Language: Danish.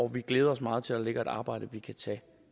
vi glæder os meget til at der ligger et arbejde vi kan tage